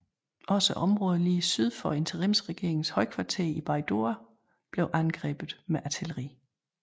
Også området lige syd for interimsregeringens højkvarter i Baidoa blev angrebet med artilleri